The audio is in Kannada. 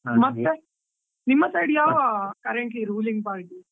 , ನಿಮ್ಮ side ಯಾವ currently ruling party ?